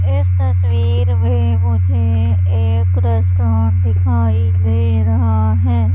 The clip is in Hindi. इस तस्वीर में मुझे एक रेस्टोरेंट दिखाई दे रहा है।